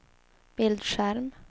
bildskärm